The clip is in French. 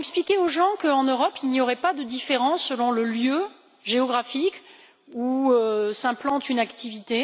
Nous avons expliqué aux gens qu'en Europe, il n'y aurait pas de différences selon le lieu géographique où s'implante une activité.